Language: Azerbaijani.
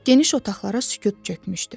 Geniş otaqlara sükut çökmüşdü.